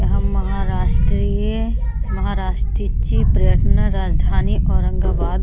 हम महाराष्ट्रीय महाराष्ट्रीची पर्यटन राजधानी औरंगाबाद --